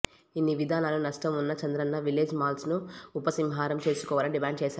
ఇన్ని విధానాలు నష్టం ఉన్న చంద్రన్న విలేజ్ మాల్స్ను ఉపసంహరించుకోవాలని డిమాండ్ చేశారు